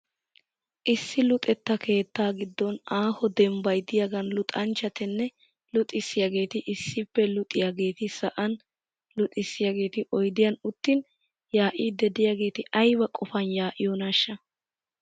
Issi Luxetta keettaa giddon aaho dembbay diyagaan luxanchchatinne luxxisiyaageeti issippe luxiyaageeti sa'an luxissiyageeti oyidiyan uttin yaa'iiddi diyageeti ayiba qopan yaa'iyonaashsha?